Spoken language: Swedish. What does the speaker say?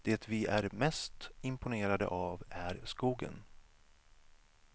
Det vi är mest imponerade av är skogen.